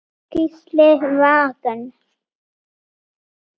Gísli Vagn.